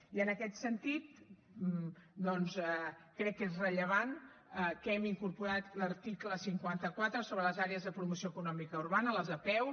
i en aquest sentit doncs crec que és rellevant que hem incorporat l’article cinquanta quatre sobre les àrees de promoció econòmica urbana les apeu